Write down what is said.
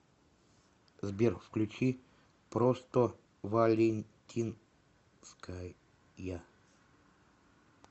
сбер включи простовалентинская